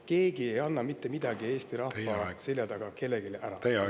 Keegi ei anna mitte midagi Eesti rahva selja taga kellelegi ära!